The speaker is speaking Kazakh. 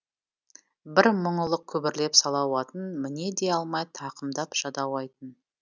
бір мұңылық күбірлеп салауатын міне де алмай тақымдап жадауайтын